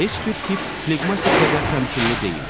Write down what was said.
Heç bir tip fleqmatik qədər təmkinli deyil.